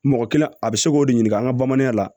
Mɔgɔ kelen a bɛ se k'o de ɲini an ka bamanan la